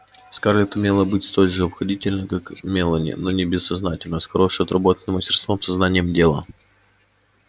скарлетт умела быть столь же обходительной как мелани но не бессознательно а с хорошо отработанным мастерством со знанием дела